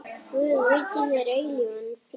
Guð veiti þér eilífan frið.